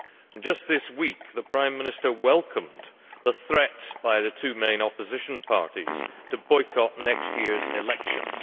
and just this week the Prime Minister welcomed the threats by the two main opposition parties to boycott next year's elections.